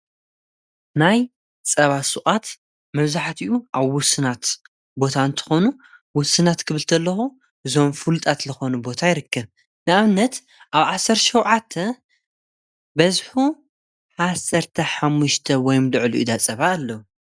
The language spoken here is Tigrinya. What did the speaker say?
ናይ ጸባ ሱቓት መብዛሕቲኡ ኣብ ውስናት ቦታ እንተኾኑ ውስናት ክብል ከለኹ ዞም ፍልጣት ልኾኑ ቦታ ይርክ ንኣብነት ኣብ ዓሠር ሸውዓተ በዝሒ ዓሠርተ ሓሙሽተ ወይም ልዕሊኡ ዳጸባ ኣሎ።